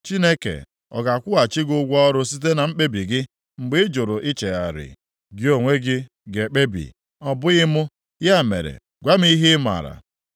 Chineke ọ ga-akwụghachi gị ụgwọ ọrụ site na mkpebi + 34:33 Ya bụ, nrọpụta gị mgbe ị jụrụ ichegharị? Gị onwe gị ga-ekpebi, ọ bụghị mụ; ya mere gwa m ihe ị mara.